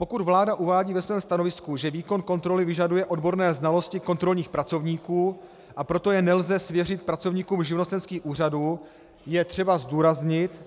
Pokud vláda uvádí ve svém stanovisku, že výkon kontroly vyžaduje odborné znalosti kontrolních pracovníků, a proto je nelze svěřit pracovníkům živnostenských úřadů, je třeba zdůraznit,